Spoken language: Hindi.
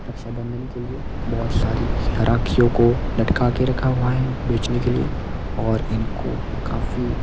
रक्षाबंधन के लिए बहोत सारी रखियो को लटका के रखा हुआ है बेचने के लिए और इनको काफी--